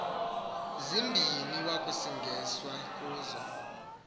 zimbini wakusingiswa kuzo